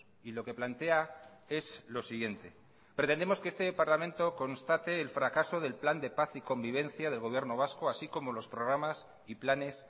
y lo que plantea es lo siguiente pretendemos que este parlamento constate el fracaso del plan de paz y convivencia del gobierno vasco así como los programas y planes